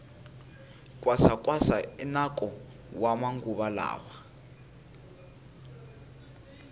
kwasa kwasa i nako wa maguva lawa